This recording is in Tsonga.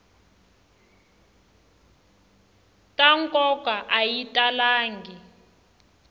ta nkoka a yi talangi